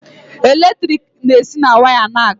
Eletrik na-esi na waya na-aga.